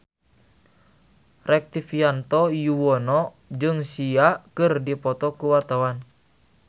Rektivianto Yoewono jeung Sia keur dipoto ku wartawan